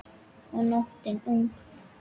Og nóttin ung.